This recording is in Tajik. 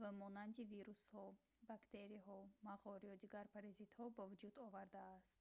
ба монанди вирусҳо бактерияҳо мағор ё дигар паразитҳо ба вуҷуд овардааст